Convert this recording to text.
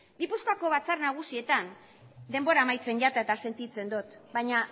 gipuzkoako batzar nagusietan denbora amaitzen jata eta sentitzen dut baina